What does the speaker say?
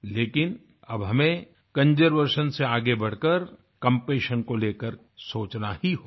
लेकिन अब हमें कंजर्वेशन से आगे बढ़ कर कम्पैशन को लेकर सोचना ही होगा